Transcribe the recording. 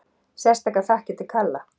Sérstakar þakkir til Kalla